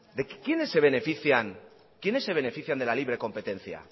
quiénes se benefician de la libre competencia